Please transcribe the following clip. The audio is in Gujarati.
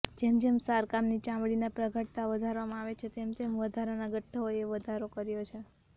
જેમ જેમ શારકામની ચામડીના પ્રગાઢતા વધારવામાં આવે છે તેમ તેમ વધારાના ગઠ્ઠીઓએ વધારો કર્યો છે